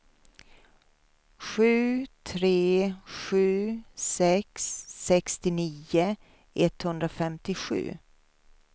sju tre sju sex sextionio etthundrafemtiosju